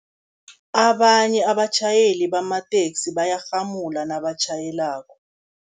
Abanye abatjhayeli bamateksi bayarhamula nabatjhayelako.